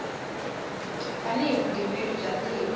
tani hi vugembuli bya tiko